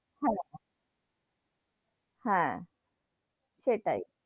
Hello হেঁ, সেটাই,